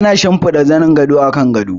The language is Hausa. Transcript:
Ana shimfida zanin gado a kan gado.